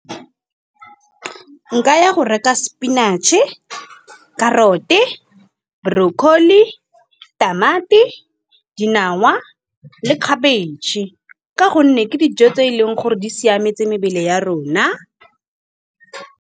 Nka ya go reka spinach-e, carrot-e brocolli, tamati, dinawa le cabbage ka gonne, ke dijo tse e leng gore di siametse mebele ya rona.